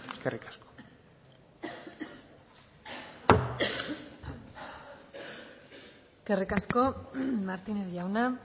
eskerrik asko eskerrik asko martínez jauna